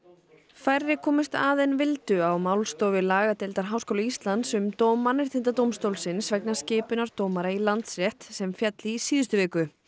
færri komust að en vildu á málstofu lagadeildar Háskóla Íslands um dóm Mannréttindadómstólsins vegna skipunar dómara í Landsrétt sem féll í síðustu viku